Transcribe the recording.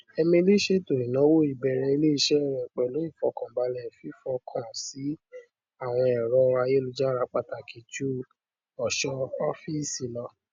émilí ṣètò ináwó ìbẹrẹ ilé iṣẹ rẹ pẹlú ìfọkànbalẹ fífọkàn síi àwọn èrò ayélujára pàtàkì ju ọṣọ ọfíìsì lọ